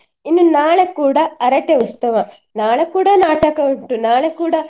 ಇನ್ನು ನಾಳೆ ಕೂಡ ಹರಕೆ ಉತ್ಸವ. ನಾಳೆ ಕೂಡ ನಾಟಕ ಉಂಟು ನಾಳೆ ಕೂಡ.